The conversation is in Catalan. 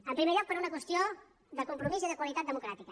en primer lloc per una qüestió de compromís i de qualitat democràtica